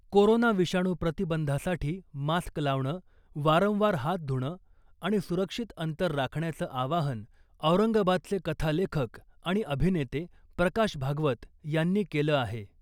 Corona विषाणू प्रतिबंधासाठी mask लावणं , वारंवार हात धुणं आणि सुरक्षित अंतर राखण्याचं आवाहन औरंगाबादचे कथालेखक आणि अभिनेते प्रकाश भागवत यांनी केलं आहे .